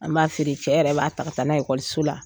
An b'a feere cɛ yɛrɛ b'a taaga taa n'a ye so la.